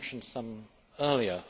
I mentioned some earlier.